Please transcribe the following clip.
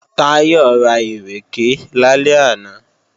Táyọ̀ ra ìrèké lálẹ́ àná